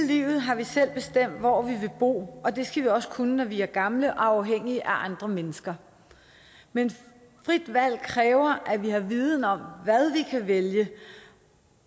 livet har vi selv bestemt hvor vi vil bo og det skal vi også kunne når vi er gamle og afhængige af andre mennesker men frit valg kræver at vi har viden om hvad vi kan vælge